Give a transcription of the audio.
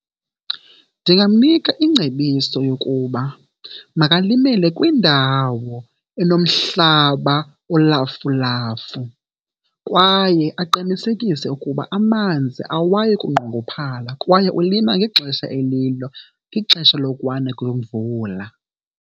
Ndingamnika ingcebiso yokuba makalimele kwindawo enomhlaba olafulafu kwaye aqinisekise ukuba amanzi awayi kunqongophala kwaye ulima ngexesha elilo, ixesha lokuna kwemvula.